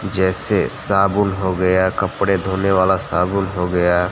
जैसे साबुन हो गया कपड़े धोने वाला साबुन हो गया।